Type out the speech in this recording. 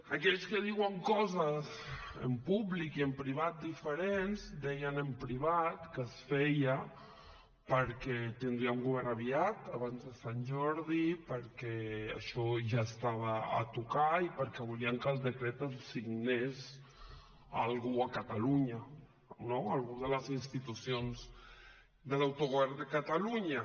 aquells que diuen coses en públic i en privat diferents deien en privat que es feia perquè tindríem govern aviat abans de sant jordi perquè això ja estava a tocar i perquè volien que el decret el signés algú a catalunya no algú de les institucions de l’autogovern de catalunya